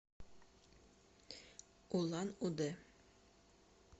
улан удэ